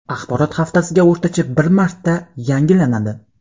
Axborot haftasiga o‘rtacha bir marta yangilanadi.